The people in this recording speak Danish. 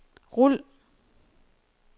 rul